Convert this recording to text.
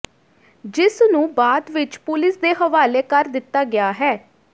ਜਿਸ ਨੂੰ ਬਾਅਦ ਵਿੱਚ ਪੁਲਿਸ ਦੇ ਹਵਾਲੇ ਕਰ ਦਿੱਤਾ ਗਿਆ ਹੈ